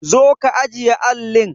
Zo ka ajiye allin!